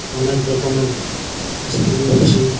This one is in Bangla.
অনেক রকমের আইস ক্রিম আছে ।